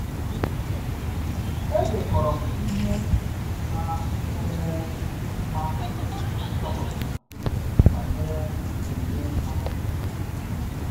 Edekọrọ m ihe na-nwere mmasị nchọpụtara banyere omume mmadụ.